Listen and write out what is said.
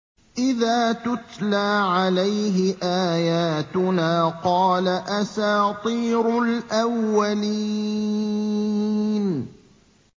إِذَا تُتْلَىٰ عَلَيْهِ آيَاتُنَا قَالَ أَسَاطِيرُ الْأَوَّلِينَ